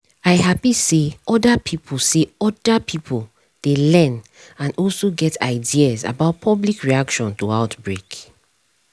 i hapi say other pipo say other pipo dey learn and also get ideas about public reaction to outbreak